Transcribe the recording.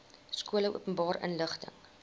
skole openbare inligting